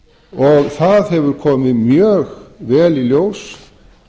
og það hefur komið mjög vel í ljós